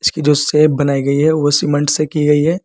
इसकी जो शेप बनाई गई है वो सीमेंट से की गई है।